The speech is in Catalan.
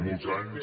molts anys